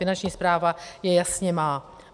Finanční správa je jasně má.